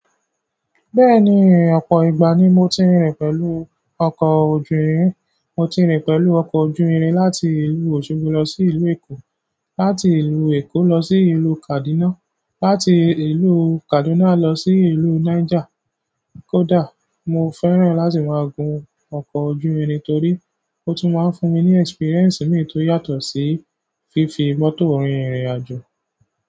Bẹ́ẹ̀ni ọ̀pọ̀ ìgbà ni mo ti rìn pẹ̀lú ọkọ̀ ojú irin ri. Mo ti rìn pẹ̀lú ọkọ̀ ojú irin láti ìlú Osogbo lọ sí ìlú Èkó, láti ìlú Èkó lọ sí ìlú Kaduna, láti ìlú Kaduna lọ sí ìlú Niger. Kódà mo fẹ́ràn láti máa gun ọkọ̀ ojú irin torí ó tún máa ń fún mi ní experience mìí tó yàtọ̀ sí fífi mọ́tò rin irìn àjò.